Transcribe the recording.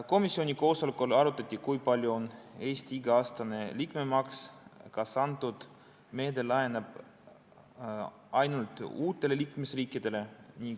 Komisjoni koosolekul arutati, kui suur on Eesti iga-aastane liikmemaks ja kas see meede laieneb ainult uutele liikmesriikidele.